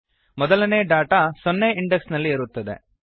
ಮೊದಲನೇ ಡೇಟಾ ಸೊನ್ನೆ ಇಂಡೆಕ್ಸ್ ನಲ್ಲಿ ಇರುತ್ತದೆ